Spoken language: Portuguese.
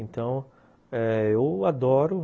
Então eh... eu adoro.